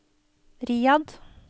Riyadh